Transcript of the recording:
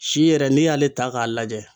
Si yɛrɛ n'i y'ale ta k'a lajɛ.